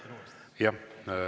Jah.